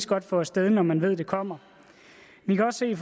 godt få af sted når man ved det kommer vi kan også se